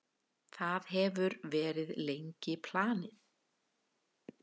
Það hefur verið lengi planið.